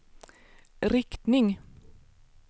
riktning